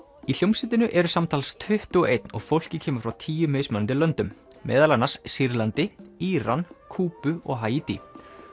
í hljómsveitinni eru samtals tuttugu og eins og fólkið kemur frá tíu mismunandi löndum meðal annars Sýrlandi Íran Kúbu og Haítí